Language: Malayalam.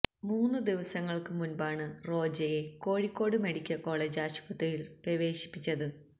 മൂന്ന് ദിവസങ്ങള്ക്ക് മുന്പാണ് റോജയെ കോഴിക്കോട് മെഡിക്കല് കോളേജ് ആശുപത്രിയില് പ്രവേശിപ്പിച്ചത്